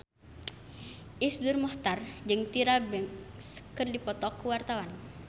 Iszur Muchtar jeung Tyra Banks keur dipoto ku wartawan